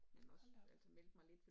Hold da op